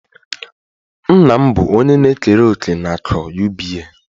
Nna m bụ onye na-ekere òkè na akụ UBA